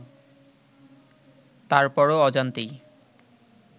তারপরও অজান্তেই